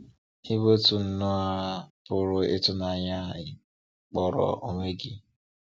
Ị bụ́ òtù nrọ a pụrụ ịtụnanya ị kpọrọ onwe gị?